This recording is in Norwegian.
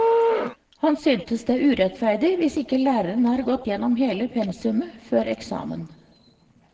Han synes det er urettferdig hvis ikke læreren har gått gjennom hele pensumet før eksamen.